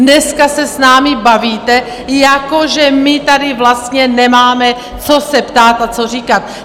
Dneska se s námi bavíte, že my tady vlastně nemáme co se ptát a co říkat!